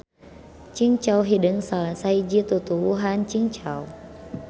Cingcau hideung salah sahiji tutuwuhan cingcau.